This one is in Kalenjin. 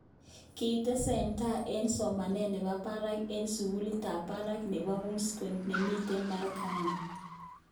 Kitestai eng somanet nebo barak eng sukulit ab barak nebo Wisconsin, nemiten Merwkani.